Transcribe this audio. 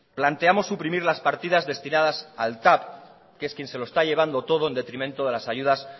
planteamos suprimir las partidas destinadas al tav que es quien se lo está llevando todo en detrimento a las ayudas